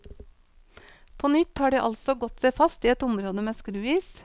På nytt har de altså gått seg fast i et område med skruis.